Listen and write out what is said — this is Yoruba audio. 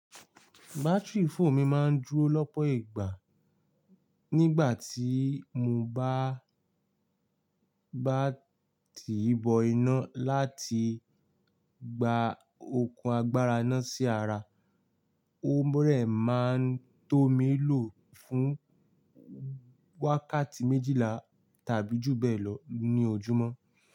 Batiri fóònù mi máa ń dúró lọ́pọ̀ ìgbà. Nígbà tí mo bá báa ti bọ iná láti gba okùn agbára ináà sí ara, ó dẹ̀ máa tó mi lò fún wákàtí méjìlá tàbí jù bẹ́ẹ̀ lọ ní ojúmọ́.